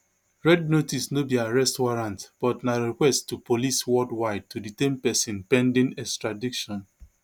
red notice no be arrest warrant but na request to police worldwide to detain pesin pending extradition